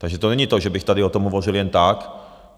Takže to není to, že bych tady o tom hovořil jen tak.